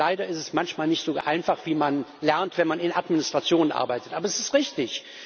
Aber leider ist es manchmal nicht so einfach wie man lernt, wenn man in Administrationen arbeitet aber es ist richtig.